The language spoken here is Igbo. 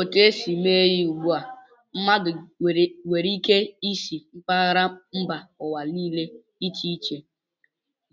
Etu e si mee ya ugbu a, mmadụ nwere ike isi mpaghara mba ụwa dị iche iche